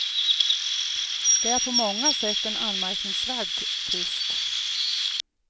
Det är en på många sätt anmärkningsvärd tvist.